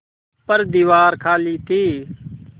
पर दीवार खाली थी